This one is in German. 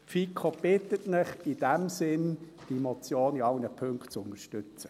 Die FiKo bittet Sie in diesem Sinn, die Motion in allen Punkten zu unterstützen.